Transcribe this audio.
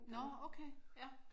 Nåh okay ja